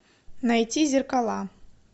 найти зеркала